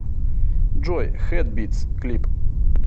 джой хэдбитс клип